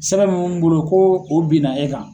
Sɛbɛn bɛ mun bolo ko o benna e kan.